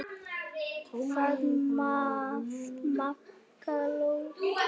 Hvað með Magga lúdó?